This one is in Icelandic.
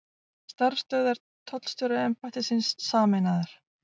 Starfsstöðvar tollstjóraembættisins sameinaðar